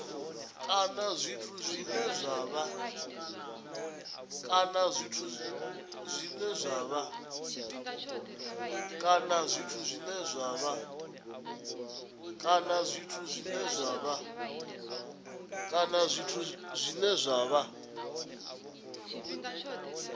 kana zwithu zwine zwa vha